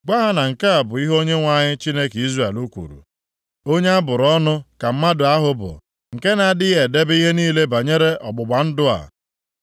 Gwa ha na nke a bụ ihe Onyenwe anyị, Chineke Izrel kwuru, ‘Onye a bụrụ ọnụ ka mmadụ ahụ bụ nke na-adịghị edebe ihe niile banyere ọgbụgba ndụ a,